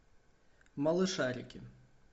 малышарики